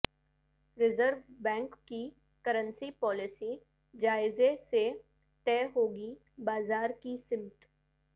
reserve bank کی currency policy جائزہ سے طے ہوگی بازار کی سمت